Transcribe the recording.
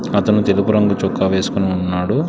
అతను తెలుపు రంగు చొక్క వేసుకుని ఉన్నాడు.